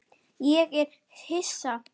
Ég er hissa.